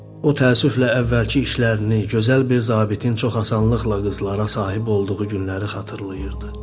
O təəssüflə əvvəlki işlərini, gözəl bir zabitin çox asanlıqla qızlara sahib olduğu günləri xatırlayırdı.